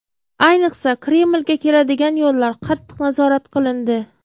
Ayniqsa Kremlga keladigan yo‘llar qattiq nazorat qilindi.